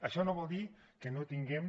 això no vol dir que no tinguem